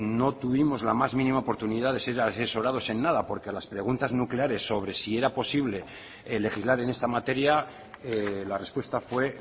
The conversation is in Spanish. no tuvimos la más mínima oportunidad de ser asesorados en nada porque a las preguntas nucleares sobre si era posible legislar en esta materia la respuesta fue